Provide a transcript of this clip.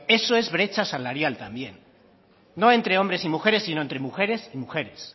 eso es brecha salarial también no entre hombres y mujeres sino entre mujeres y mujeres